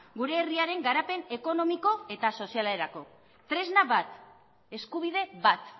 gure herriaren garapen ekonomiko eta sozialerako tresna bat eskubide bat